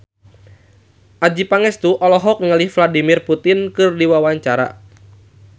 Adjie Pangestu olohok ningali Vladimir Putin keur diwawancara